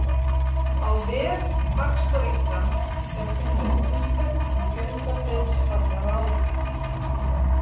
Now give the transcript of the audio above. Á vef Hagstofu Íslands er að finna upplýsingar um fjölda dauðsfalla á ári.